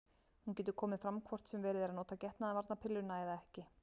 Hún getur komið fram hvort sem verið er að nota getnaðarvarnarpilluna eða ekki.